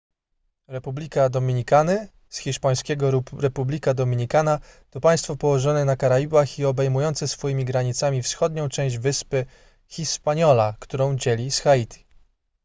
republika dominikany hiszp. república dominicana to państwo położone na karaibach i obejmujące swoimi granicami wschodnią część wyspy hispaniola którą dzieli z haiti